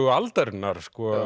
aldarinnar